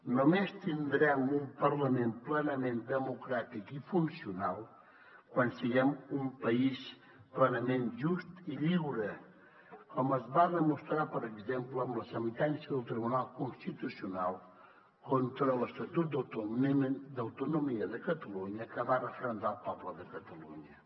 només tindrem un parlament plenament democràtic i funcional quan siguem un país plenament just i lliure com es va demostrar per exemple amb la sentència del tribunal constitucional contra l’estatut d’autonomia de catalunya que va referendar el poble de catalunya